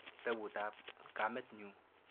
Kitaput ap kamet nyu.